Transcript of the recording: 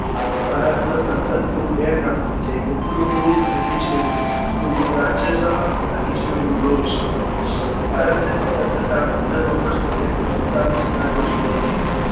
ભારતના સંસદ ગૃહ બે પ્રમાણે છે એક ઉપલું ગ્રુપ અને એક નીચલું ગ્રુપ ઉપલું ગ્રુપ રાજ્યસભા તથા નીચલું ગ્રુપ લોકસભા ભારતની સ્વતંત્રતા પંદર ઔગ્સ્ત ઓગ્નીસો સુદ્તાલીશ ના રોજ મળી હતી